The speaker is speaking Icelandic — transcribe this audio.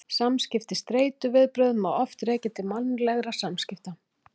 Samskipti Streituviðbrögð má oft rekja til mannlegra samskipta.